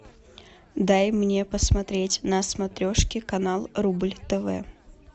дай мне посмотреть на смотрешке канал рубль тв